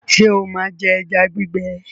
ṣe o má jé eja gbigbe?